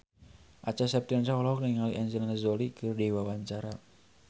Acha Septriasa olohok ningali Angelina Jolie keur diwawancara